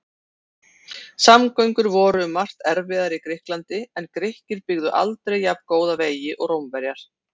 Samgöngur voru um margt erfiðar í Grikklandi en Grikkir byggðu aldrei jafngóða vegi og Rómverjar.